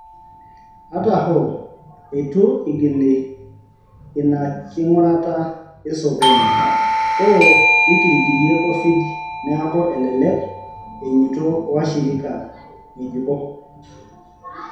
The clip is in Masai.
Ata hoo, eitu eigili ina king'urata esokoni, hoo nekirikirie Covid neaku elelek einyoto washirika ng'ejuko.